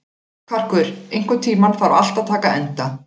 Karkur, einhvern tímann þarf allt að taka enda.